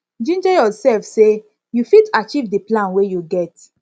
ginger yourself sey you fit achieve di plan wey you get